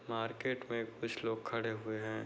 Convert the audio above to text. Market में कुछ लोग खड़े हुए हैं।